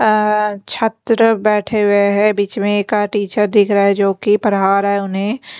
अह छात्र बैठे हुए हैं बीच में एक टीचर दिख रहा है जो कि पढ़ा रहा है उन्हें।